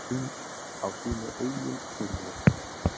Á sínu eigin heimili.